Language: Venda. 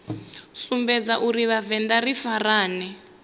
sumbedza uri vhavenḓa ri farane